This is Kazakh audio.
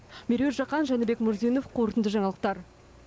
меруерт жақан жәнібек мурзинов қорытынды жаңалықтар